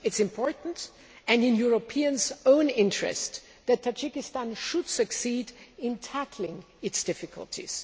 It is important and in Europeans' own interests that Tajikistan should succeed in tackling its difficulties.